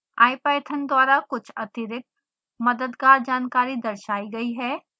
ipython द्वारा कुछ अतिरिक्त मददगार जानकारी दर्शाई गई है